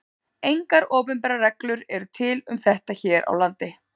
Engar opinberar reglur eru til um þetta hér á landi.